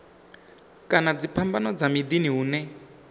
kana dziphambano dza miḓini hune